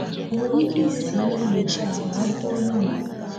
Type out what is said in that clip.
Ò nwere ike iwepụ ihe mgbochi a ma bụrụ onye Igbo?